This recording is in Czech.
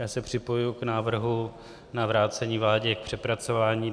Já se připojuji k návrhu na vrácení vládě k přepracování.